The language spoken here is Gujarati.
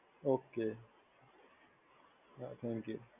ઓકે. હા થૅન્ક યુ